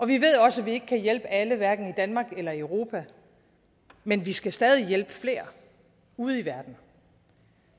vi ved også at vi ikke kan hjælpe alle hverken i danmark eller i europa men vi skal stadig hjælpe flere ude i verden